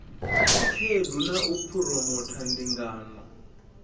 khaedu na u phuromotha ndingano